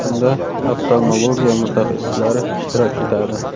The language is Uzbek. Unda oftalmologiya mutaxassislari ishtirok etadi.